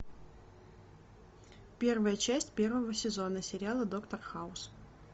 первая часть первого сезона сериала доктор хаус